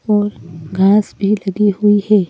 और घास भी लगी हुई है।